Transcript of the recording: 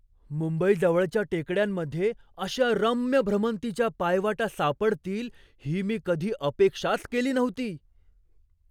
मुंबईजवळच्या टेकड्यांमध्ये अशा रम्य भ्रमंतीच्या पायवाटा सापडतील ही मी कधी अपेक्षाच केली नव्हती.